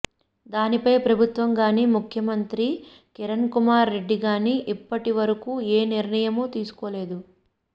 దానిపై ప్రభుత్వం గానీ ముఖ్యమంత్రి కిరణ్ కుమార్ రెడ్డి గానీ ఇప్పటి వరకు ఏ నిర్ణయమూ తీసుకోలేదు